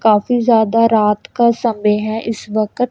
काफी ज्यादा रात का समय है इस वकत--